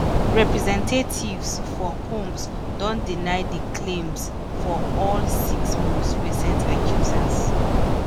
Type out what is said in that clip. representatives for combs don deny di claims of all six most recent accusers.